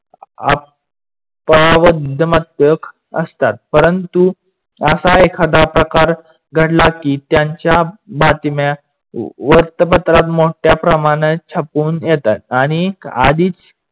असतात. परंतु असा एखादा प्रकार घडला की त्यांच्या बातम्या वृतपत्रात मोट्या प्रमाणात छापवून येतात आणि आधीच